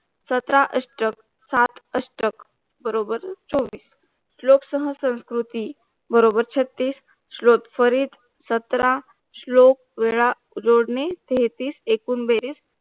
सतरा अष्टक सात अष्टक बरोबर चोवीस श्लोक सहा संस्कृती बरोबर छत्तीस श्लोक फरीत सतरा श्लोक वेळा जोडणी तेहतीस एकूण बेरीज